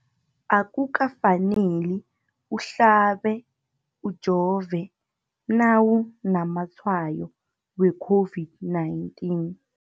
Akuka faneli uhlabe, ujove nawu namatshayo we-COVID-19.